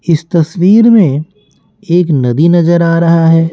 इस तस्वीर में एक नदी नजर आ रहा है।